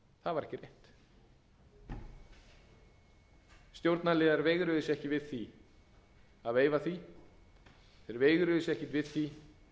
rétt stjórnarliðar veigruðu sér ekki við því að veifa því þeir veigruðu sér ekki við því